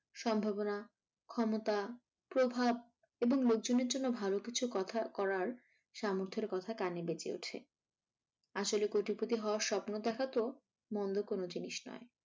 সম্ভাবনা, ক্ষমতা, প্রভাব এবং লোকজনের জন্য ভালোকিছু কথার করার সামর্থের কথা কানে বেজে ওঠে আসলে কোটিপতি হওয়ার স্বপ্ন দেখা তো মন্দ কোনো জিনিস নয়।